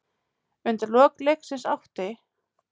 Undir lok leiksins átti